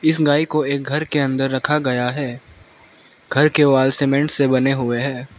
इस गाय को एक घर के अंदर रखा गया है घर के वॉल सीमेंट से बने हुए हैं।